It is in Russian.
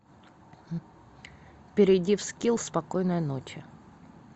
перейди в скилл спокойной ночи